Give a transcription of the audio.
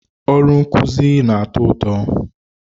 Ọrụ nkuzi na-atọ ụtọ.